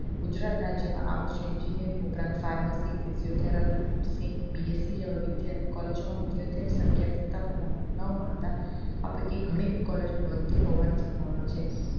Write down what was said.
ગુજરાત રાજ્ય માં આ વર્ષ engineer ઉપરાંત pharmacy, physio therapy, nursingBSC જેવા collage માં વિદ્યાર્થીઓની સંખ્યા પૂરતા પ્રમાણ મા માંગવા મળતા આપણે ત્યાં ઘણી જ collage બંદ હોવાની સંભાવના છે